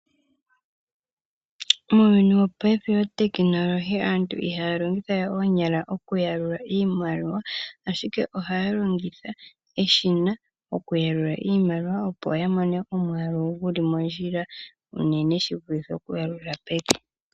Muuyuni wopaife otekinolohi aantu ihaya longitha we oonyala okuyalula iimaliwa ashike ohaya longitha eshina okuyalula iimaliwa opo yamone omwaalu guli mondjila unene shi vulithe okuyalula peke.